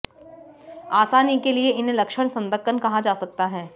आसानी के लिए इन्हें लक्षण संदकन कहा जा सकता है